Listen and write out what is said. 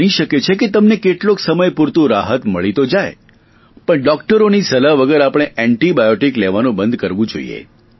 બની શકે છે તમને કેટલોક સમય પૂરતી રાહત મળી તો જાય પણ ડોકટરોની સલાહ વગર આપણ એન્ટિબાયોટિક લેવાનું બંધ કરવું જોઈએ